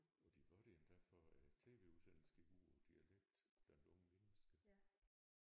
Og de var der endda for tv-udsendelsen gik ud på dialekt blandt unge mennesker